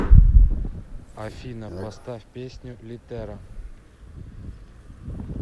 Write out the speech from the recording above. афина поставь песню литера